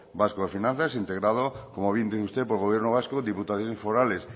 vasco de finanzas integrado como bien dice usted por gobierno vasco diputaciones forales